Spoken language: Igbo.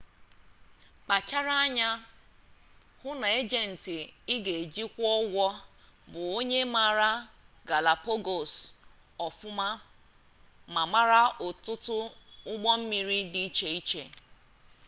kpachara anya hụ na ejenti ị ga-eji akwụ ụgwọ bụ onye maara galapagos ọfụma ma mara ọtụtụ ụgbọ mmiri di iche iche